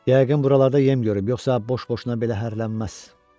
Yəqin buralarda yem görüb, yoxsa boş-boşuna belə hərələnən olmaz.